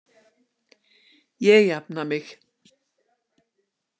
Ég jafna mig.